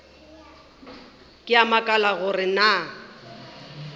ke a makala gore na